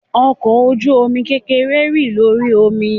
Ọkọ oju-omi kekere ń rin lori omi.